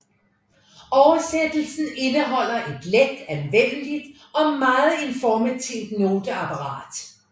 Oversættelsen indeholder et let anvendeligt og meget informativt noteapparat